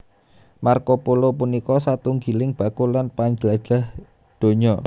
Marco Polo punika satunggiling bakul lan panjlajah donya